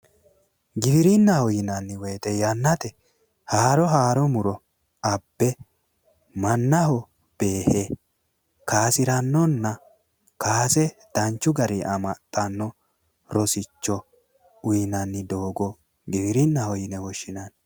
Giwirinnaho yinnanni woyite haaro yanna yannate haaro abbe mannaho beehe kayisirannonna kaase danchu garinni amaxxanno rosicho uyinanni doogo giwirinnaho yinanni.